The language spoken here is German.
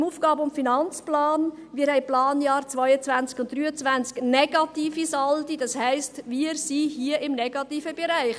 : Wir haben in den Planjahren 2022 und 2023 negative Saldi, das heisst, wir sind hier im negativen Bereich.